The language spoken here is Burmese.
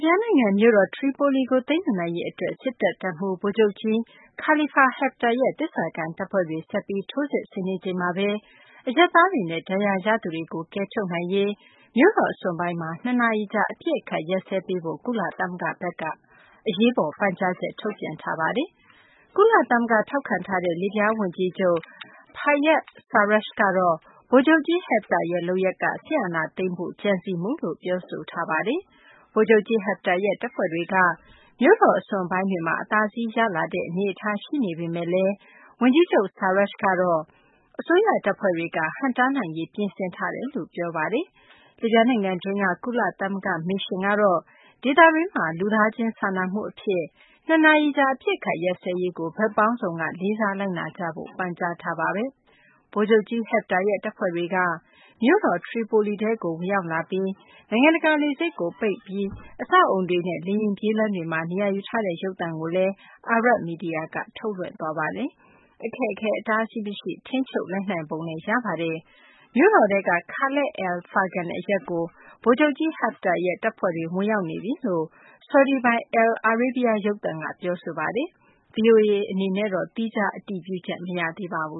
ဗျားနိုင်ငံ မြို့တော် ထရီပိုလီကို သိမ်းယူနိုင်ရေး အတွက် စစ်တပ် တပ်မှူး ဗိုလ်ချုပ်ကြီး Khalifa Haftar ရဲ့ သစ္စာခံ တပ်ဖွဲ့တွေ ဆက်ပြီး ထိုးစစ်ဆင်နေချိန်မှာပဲ အရပ်သားတွေနဲ့ ဒဏ်ရာရသူတွေကို ကယ်ထုတ်နိုင်ရေး မြို့တော် အစွန်ပိုင်းမှာ ၂ နာရီကြာ အပစ်အခတ်ရပ်စဲပေးဖို့ ကုလသမဂ္ဂဘက်က အရေးပေါ် ပန်ကြားချက် ထုတ်ပြန်လိုက်ပါတယ်။ ကုလသမဂ္ဂ ထောက်ခံထားတဲ့ လစ်ဗျား ဝန်ကြီးချုပ် Fayez Sarraj ကတော့ ဗိုလ်ချုပ်ကြီး Haftar ရဲ့ လုပ်ရပ်က စစ်အာဏာသိမ်းဖို့ ကြံစည်မှုလို့ ပြောဆိုထားပါတယ်။ ဗိုလ်ချုပ်ကြီး Haftar ရဲ့ တပ်ဖွဲ့တွေက မြို့တော် အစွန်ပိုင်းတွေမှာ အသာစီးရလာတဲ့ အနေအထားရှိနေပေမယ့်လည်း ဝန်ကြီးချုပ် Sarraj ကတော့ အစိုးရတပ်ဖွဲ့တွေက ဟန့်တားနိုင်ရေး ပြင်ဆင်ထားတယ်လို့ ပြောဆိုပါတယ်။ လစ်ဗျားနိုင်ငံတွင်းက ကုလသမဂ္ဂ မစ်ရှင် ( UNSMIL ) ကတော့ ဒေသတွင်းမှာ လူသားချင်းစာနာမှုအဖြစ် ၂ နာရီကြာ အပစ်အခတ်ရပ်စဲရေးကို ဘက်ပေါင်းစုံက လေးစားလိုက်နာကြဖို့ ပန်ကြားထားပါတယ်။ ဗိုလ်ချုပ်ကြီး Haftar ရဲ့ တပ်ဖွဲ့တွေက မြို့တော် ထရီပိုလီထဲကို ဝင်ရောက်လာပြီး နိုင်ငံတကာ လေဆိပ်ကို ပိတ်လိုက်ပြီး အဆောက်အအုံတွေနဲ့ လေယာဉ်ပြေးလမ်းတွေမှာ နေရာယူထားတဲ့ ရုပ်သံကို Arab မီဒီယာက ထုတ်လွှင့်သွားပါတယ်။ အခက်အခဲ အတားအဆီး မရှိ ထိန်းချုပ်လိုက်နိုင်ပုံလည်း ရပါတယ်။ မြို့တော်ထဲက Khalat al-Fargan အရပ်ကို ဗိုလ်ချုပ်ကြီး Haftar ရဲ့ တပ်ဖွဲ့တွေ ဝင်ရောက်နေပြီလို့ ဆော်ဒီပိုင် al-Arabiya ရုပ်သံက ပြောဆိုပါတယ်။ ဗွီအိုအေ အနေနဲ့တော့ သီးခြား အတည်ပြုချက် မရသေးပါဘူ